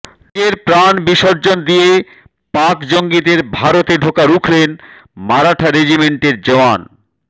নিজের প্রাণ বিসর্জন দিয়ে পাক জঙ্গিদের ভারতে ঢোকা রুখলেন মারাঠা রেজিমেন্টের জওয়ান